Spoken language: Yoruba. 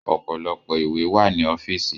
Ọ̀pọ̀lọpọ̀ ìwé wà ní ọ́fìsì.